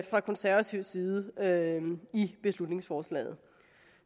fra konservativ side i beslutningsforslaget